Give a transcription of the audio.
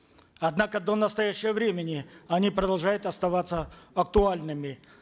однако до настоящего времени они продолжают оставаться актуальными